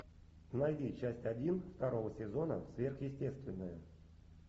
найди часть один второго сезона сверхъестественное